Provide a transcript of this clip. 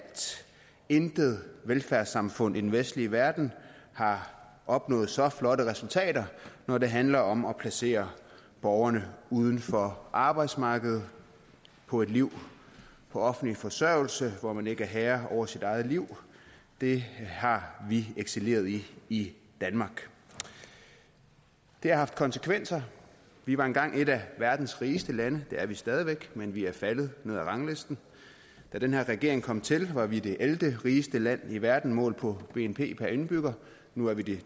intet velfærdssamfund i den vestlige verden har opnået så flotte resultater når det handler om at placere borgerne uden for arbejdsmarkedet på et liv på offentlig forsørgelse hvor man ikke er herre over sit eget liv det har vi excelleret i i danmark det har haft konsekvenser vi var engang et af verdens rigeste lande det er vi stadig væk men vi er faldet ned ad ranglisten da den her regering kom til var vi det ellevterigeste land i verden målt på bnp per indbygger nu er vi det